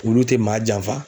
Wulu te maa janfa